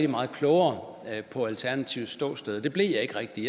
meget klogere på alternativets ståsted det blev jeg ikke rigtig